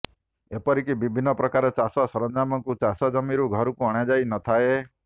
ଏପରିକି ବିଭିନ୍ନ ପ୍ରକାର ଚାଷ ସରଞ୍ଜାମକୁ ଚାଷ ଜମିରୁ ଘରକୁ ଅଣା ଯାଇ ନଥାଏ